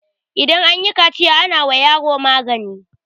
idan an yi kaciya ana wa yaro magani